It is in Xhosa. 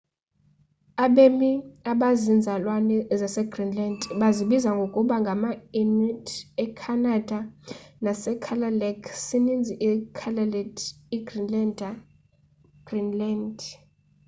abemi abazinzalelwane zasegreenland bazibiza ngokuba ngama-inuit ecanada nasekalaalleq isininzi ikalaallit igreenlander egreenland